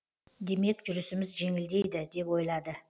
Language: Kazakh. демек жүрісіміз жеңілдейді деп ойлады